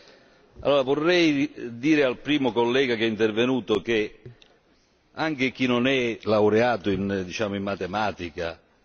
Anche chi non è laureato diciamo in matematica o specializzato in queste materie sa che senza crescita non si riduce il debito.